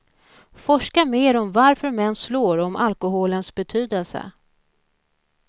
Forska mer om varför män slår och om alkoholens betydelse.